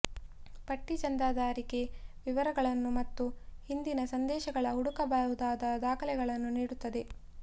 ಪಟ್ಟಿ ಚಂದಾದಾರಿಕೆ ವಿವರಗಳನ್ನು ಮತ್ತು ಹಿಂದಿನ ಸಂದೇಶಗಳ ಹುಡುಕಬಹುದಾದ ದಾಖಲೆಗಳನ್ನು ನೀಡುತ್ತದೆ